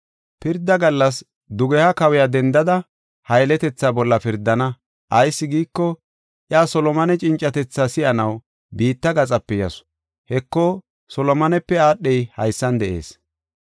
Pirda gallas dugeha kawiya dendada ha yeletethaa bolla pirdana; ayis giiko, iya Solomone cincatethaa si7anaw biitta gaxape yasu. Heko, Solomonepe aadhey haysan de7ees.